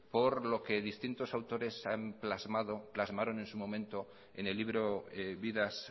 por lo que distintos autores han plasmado o plasmaron en su momento en el libro vidas